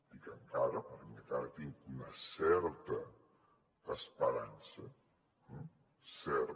dic encara perquè encara tinc una certa esperança certa